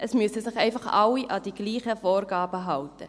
Es müssen sich einfach alle an die gleichen Vorgaben halten.